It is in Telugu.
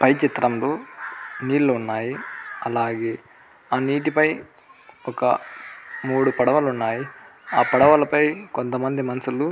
ఫై చిత్రంలో నీళ్లు ఉన్నాయ్. అలాగే ఆ నీటిపై ఒక మూడు పడవలు ఉన్నాయ్. ఆ పడవల ఫై కొంతమంది మనుషులు --